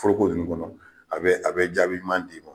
Foroko nunnu kɔnɔ , a bɛ jaabi ɲuman di ma.